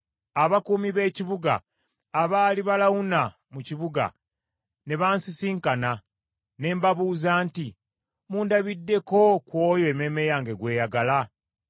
Abakuumi b’ekibuga abaali balawuna mu kibuga, ne bansisinkana, ne mbabuuza nti, “Mundabidde ku oyo emmeeme yange gw’eyagala?”